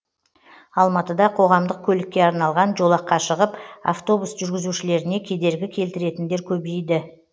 алматыда қоғамдық көлікке арналған жолаққа шығып автобус жүргізушілеріне кедергі келтіретіндер көбейді